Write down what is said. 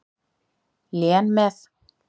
Lén með.